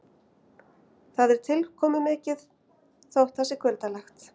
Það er tilkomumikið þótt það sé kuldalegt.